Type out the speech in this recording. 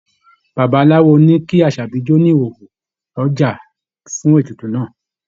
Babaláwo ní kí Àṣàbí jó ní ìhòhò lọ́jà fún ètùtù náà.